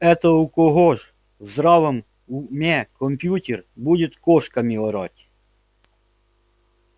это у кого ж в здравом уме кампьютир будет кошками орать